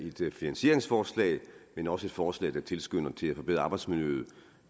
et finansieringsforslag men også et forslag der tilskynder til at forbedre arbejdsmiljøet